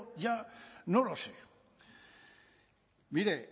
ya no lo sé mire